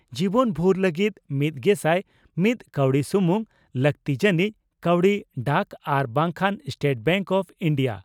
ᱡᱤᱵᱚᱱᱵᱷᱩᱨ ᱞᱟᱹᱜᱤᱫ ᱢᱤᱛᱜᱮᱥᱟᱭ ᱢᱤᱛ ᱠᱟᱣᱰᱤ ᱥᱩᱢᱩᱝ ᱾ᱞᱟᱹᱜᱛᱤ ᱡᱟᱹᱱᱤᱡ ᱠᱟᱹᱣᱰᱤ ᱰᱟᱠ ᱟᱨ ᱵᱟᱝᱠᱷᱟᱱᱥᱴᱮᱴ ᱵᱮᱝᱠ ᱚᱯᱷ ᱤᱱᱰᱤᱭᱟ